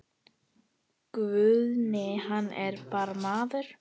Guðni hann er bara maður.